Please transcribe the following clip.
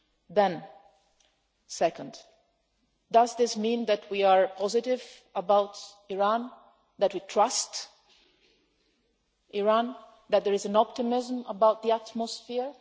Then, second, does this mean that we are positive about Iran, that we trust Iran, that there is an optimism about the atmosphere?